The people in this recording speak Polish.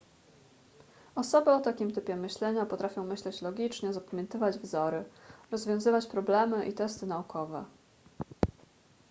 osoby o takim typie myślenia potrafią myśleć logicznie zapamiętywać wzory rozwiązywać problemy i testy naukowe